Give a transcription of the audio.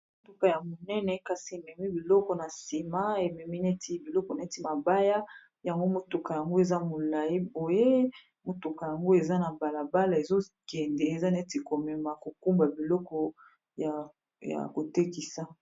motuka ya monene kasi ememi biloko na sima ememi neti biloko neti mabaya yango motuka yango eza molai oyo motuka yango eza na balabala ezokende eza neti komema mokumba biloko ya kotekisa.